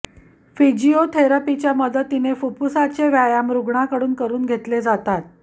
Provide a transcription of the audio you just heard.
फिजिओथेरपीच्या मदतीने फुफुसाचे व्यायाम रुग्णाकडून करून घेतले जातात